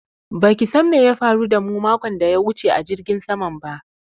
Ba ki san me ya faru da mu makon daya wuce a jirgin saman ba